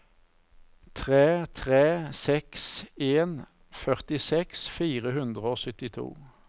tre tre seks en førtiseks fire hundre og syttito